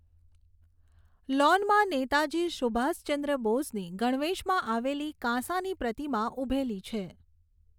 લૉનમાં નેતાજી સુભાષચંદ્ર બોઝની ગણવેશમાં આવેલી કાંસાની પ્રતિમા ઊભેલી છે.